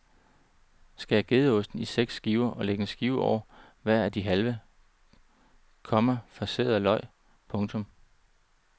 Skær gedeosten i seks skiver og læg en skive over hver af de halve, komma farserede løg. punktum